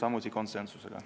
Aitäh!